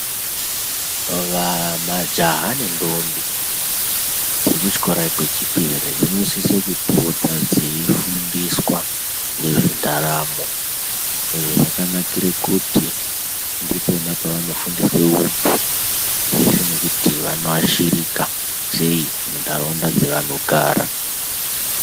Majaha nedombi dziri kuchikora kwechipiri dzinosisa kupota dzeifundiswa ngezvendaramo, izvo zvakanakire kuti ndipoo paano fundiswa untu zveshe nekuti vanoashirika sei muntaraunda dzavanogara.